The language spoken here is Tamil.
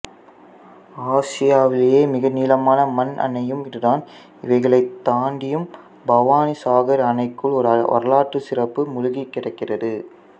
ஆசியாவிலேயே மிக நீளமான மண் அணையும் இதுதான் இவைகளைத் தாண்டியும் பவானிசாகர் அணைக்குள் ஓர் வரலாற்றுச்சிறப்பு மூழ்கிக் கிடக்கிறது